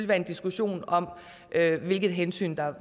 være en diskussion om hvilket hensyn